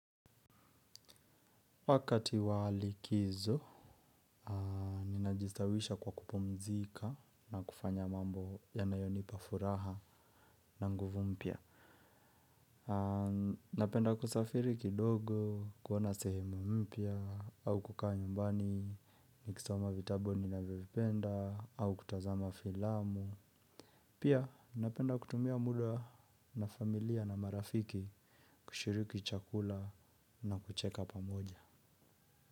Wakati wa likizo, ninajistawisha kwa kupumzika na kufanya mambo yanayonipa furaha na nguvu mpya. Napenda kusafiri kidogo, kuona sehemu mpya, au kukaa nyumbani ni kisoma vitabu ninavyo vipenda, au kutazama filamu. Pia, napenda kutumia muda na familia na marafiki kushiriki chakula na kucheka pamoja.